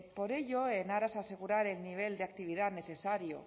por ello en aras a asegurar el nivel de actividad necesario